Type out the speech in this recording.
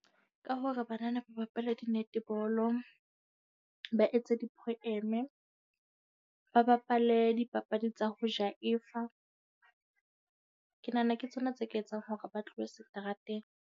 Ka hore banana ba bapale di-netball-o, ba etse di-poem-e. Ba bapale dipapadi tsa ho jaefa. Ke nahana ke tsona tse ka etsang hore ba tlohe seterateng.